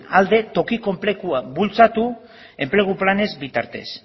alde tokiko enplegua bultzatu enplegu planen bitartez